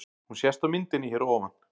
Hún sést á myndinni hér að ofan.